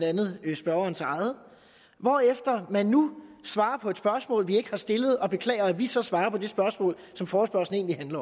andet spørgerens eget hvorefter man nu svarer på et spørgsmål vi ikke har stillet og beklager at vi så svarer på det spørgsmål som forespørgslen egentlig